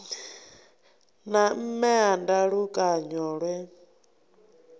na mme a ndalukanyo lwe